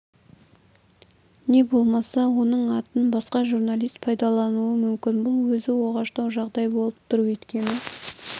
не болмаса оның атын басқа журналист пайдалануы мүмкін бұл өзі оғаштау жағдай болып тұр өйткені